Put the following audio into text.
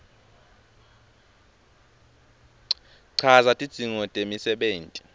chaza tidzingo temisebenti